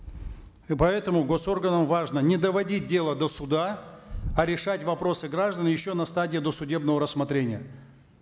и поэтому госорганам важно не доводить дело до суда а решать вопросы граждан еще на стадии досудебного рассмотрения